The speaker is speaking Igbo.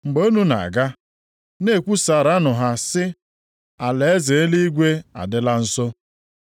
Mgbe unu na-aga, na-ekwusaaranụ ha sị, ‘alaeze eluigwe a dịla nso.’